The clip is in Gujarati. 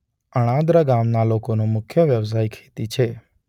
અણાદરા ગામના લોકોનો મુખ્ય વ્યવસાય ખેતી છે.